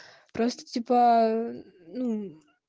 просто типа